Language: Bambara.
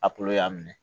A y'a minɛ